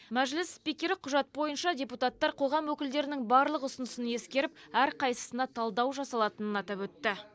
мәжіліс спикері құжат бойынша депутаттар қоғам өкілдерінің барлық ұсынысын ескеріп әрқайсысына талдау жасалатынын атап өтті